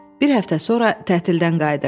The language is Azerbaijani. Bir həftə sonra tətilə qayıdırdıq.